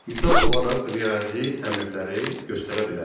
Misal olaraq riyazi əmrləri göstərə bilərik.